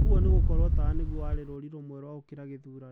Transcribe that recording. Ũguo ni gũkoro tawa nĩguo warĩ rũũri rwame rwa okĩra gĩthurano.